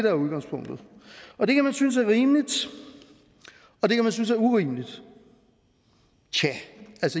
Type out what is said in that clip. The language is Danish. er udgangspunktet og det kan man synes er rimeligt og det kan man synes er urimeligt tja